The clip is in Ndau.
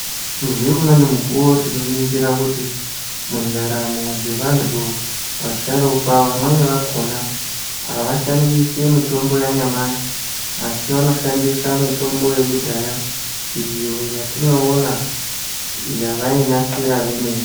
Ngeumweni mukuwo tinoningira kuti mundaramo dzevantu vasharukwa vamweni vakona havashandisi mitombo yanyamashi, asi vanoshandisa mitombo yakudhaya, iyo yatinoona yavainasira vemene.